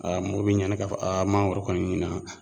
A mɔgɔw bɛ ɲinigali ka fɔ a mangoro kɔni ɲinan